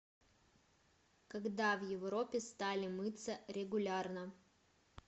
когда в европе стали мыться регулярно